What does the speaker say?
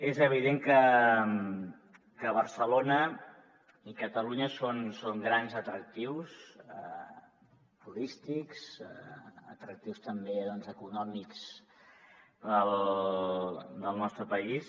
és evident que barcelona i catalunya són grans atractius turístics i atractius també doncs econòmics del nostre país